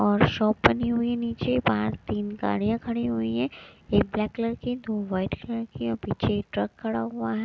और शॉप बनी हुई नीचे बाहर तीन गाड़ियां खड़ी हुई है एक ब्लैक कलर की दो वाइट कलर के पीछे ट्रक खड़ा हुआ है।